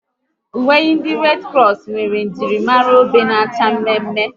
Uwe ndị Redi Kros nwere njirimara obe na-acha mme mme